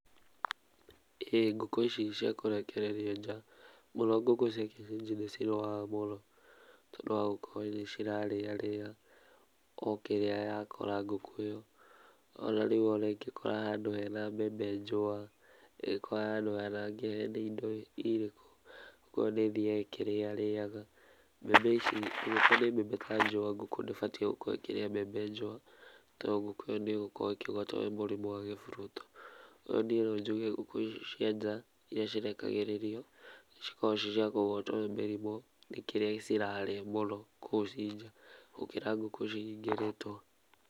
Ĩĩ ngũkũ ici cia kũrekererio nja mũno ngũkũ cia kĩenyenji nĩ cirwaraga mũno, tondũ wa gukorwo nĩ cirarĩa rĩa o kĩrĩa ya kora ngũkũ ĩyo, ona rĩmwe ona ĩngĩkora handũ hena mbembe njũa, ĩngĩkora handũ hena indo irĩkũ ngũkũ ĩyo nĩ ĩthiyaga ĩkĩriyarĩyaga. Angĩkorwo nĩ mbembe njũa ngũkũ ndĩbatiĩ gũkorwo ĩkĩrĩa mbembe njũa to ngũkũ ĩyo nĩ gũkorwo ĩkĩgwatwo nĩ mũrimũ wa gĩburuto. No niĩ no njuge ngũkũ icio cia nja iria cirekagĩrĩrio cikoragwo ciĩ ciakũgwatwo nĩ mĩrimũ nĩ kĩrĩa cirarĩa mũno kũu ci nja, gũkĩra ngũkũ cihingĩrĩtwo.